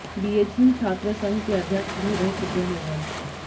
BHU छात्र संघ के अध्यक्ष भी रह चुके हैं वह